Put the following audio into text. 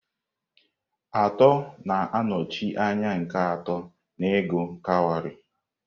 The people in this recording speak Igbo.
Atọ na-anọchi anya nke atọ n'ịgụ kawarị.